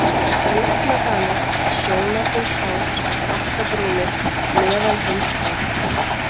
Rjúpnadalir, Sjónarhólsás, Bakkabrúnir, Meðalheimsbunga